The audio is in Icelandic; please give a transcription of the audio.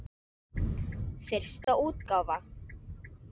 Fyrsta útgáfa.